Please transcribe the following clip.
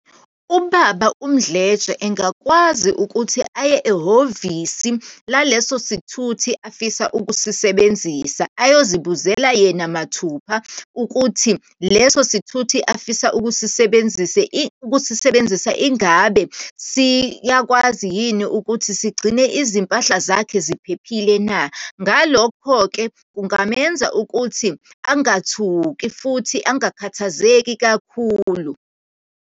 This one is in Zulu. Ubaba uMdletshe, engakwazi ukuthi aye ehhovisi laleso sithuthi afisa ukusisebenzisa, ayozibuzela yena mathupha, ukuthi leso sithuthi afisa ukusisebenzisa, ukusisebenzisa, ingabe siyakwazi yini ukuthi sigcine izimpahla zakhe ziphephile na? Ngalokho-ke, kungamenza ukuthi angathuki, futhi angakhathazeki kakhulu.